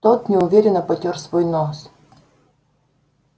тот неуверенно потёр свой нос